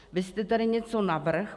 Vy jste tady něco navrhl.